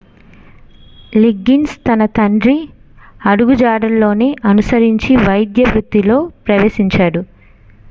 Liggins తన తండ్రి అడుగుజాడల్లోనే అనుసరించి వైద్య వృత్తిలో ప్రవేశించాడు